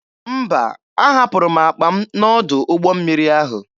Mba, ahapụrụ m akpa m n'ọdụ ụgbọ mmiri ahụ.